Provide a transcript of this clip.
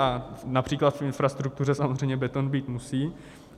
A například v infrastruktuře samozřejmě beton být musí.